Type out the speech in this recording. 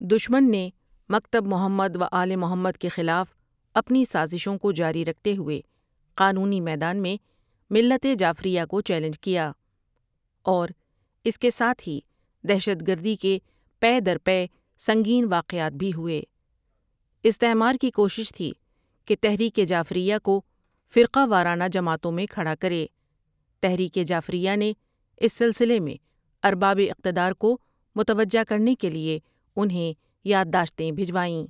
دشمن نے مکتب محمدؐو آل محمدؑ کے خلاف اپنی سازشوں کو جاری رکھتے ہوئے قانونی میدان میں ملت جعفریہ کو چیلنج کیا اور اس کے ساتھ ہی دہشت گردی کے پے در پے سنگین واقعات بھی ہوئے استعمارکی کوشش تھی کہ تحریک جعفریہ کو فرقہ وارانہ جماعتوں میں کھڑا کرے تحریک جعفریہ نے اس سلسلہ میں ارباب اقتدار کو متوجہ کرنے کےلئے انہیں یادداشتیں بھجوائیں۔